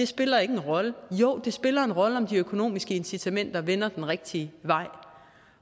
spiller en rolle jo det spiller en rolle om de økonomiske incitamenter vender den rigtige vej